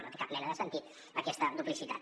no té cap mena de sentit aquesta duplicitat